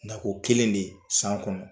Nako kelen de san kɔnɔ.